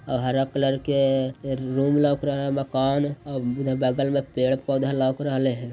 आ हरा कलर के रूम लोक रहै हैं मकान। आ उधर बगल में पेड़ पौधे लग रेले हैं।